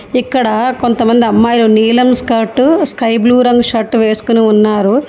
ఇక్కడ కొంతమంది అమ్మాయిలు నీలం స్కర్టు స్కై బ్లూ రంగు షర్ట్ వేసుకొని ఉన్నారు.